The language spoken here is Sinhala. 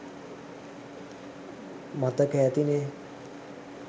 මතක ඇතිනේ